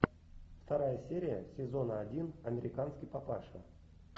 вторая серия сезона один американский папаша